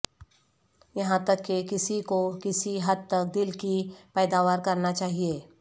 یہاں تک کہ کسی کو کسی حد تک دل کی پیداوار کرنا چاہئے